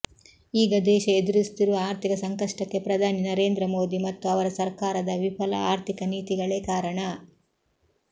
ಈಗ ದೇಶ ಎದುರಿಸುತ್ತಿರುವ ಆರ್ಥಿಕ ಸಂಕಷ್ಟಕ್ಕೆ ಪ್ರಧಾನಿ ನರೇಂದ್ರ ಮೋದಿ ಮತ್ತು ಅವರ ಸರ್ಕಾರದ ವಿಫಲ ಆರ್ಥಿಕ ನೀತಿಗಳೇ ಕಾರಣ